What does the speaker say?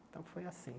Então, foi assim.